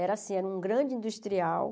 Era assim, era um grande industrial.